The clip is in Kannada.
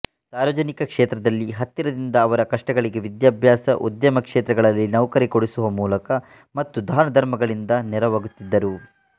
ಸಾರ್ವಜನಿಕ ಕ್ಷೇತ್ರದಲ್ಲಿ ಹತ್ತಿರದಿಂದ ಅವರ ಕಷ್ಟಗಳಿಗೆ ವಿದ್ಯಾಭ್ಯಾಸ ಉದ್ಯಮಕ್ಷೇತ್ರಗಳಲ್ಲಿ ನೌಕರಿ ಕೊಡಿಸುವ ಮೂಲಕ ಮತ್ತು ದಾನಧರ್ಮಗಳಿಂದ ನೆರವಾಗುತ್ತಿದ್ದರು